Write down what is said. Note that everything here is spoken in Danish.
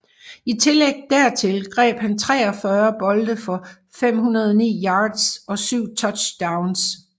I tillæg dertil greb han 43 bolde for 509 yards og 7 touchdowns